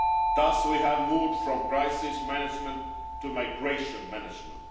Thus we have moved from crisis management to migration management.